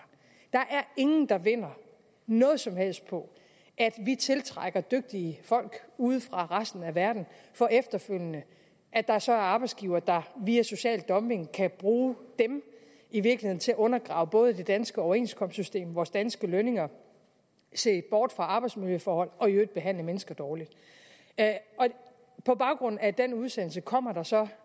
der er ingen der vinder noget som helst på at vi tiltrækker dygtige folk ude fra resten af verden for efterfølgende at der så er arbejdsgivere der via social dumping kan bruge dem i virkeligheden til at undergrave både det danske overenskomstsystem vores danske lønninger se bort fra arbejdsmiljøforhold og i øvrigt behandle mennesker dårligt på baggrund af den udsendelse kommer der så